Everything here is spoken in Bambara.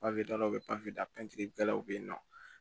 daw bɛ da la yen nɔ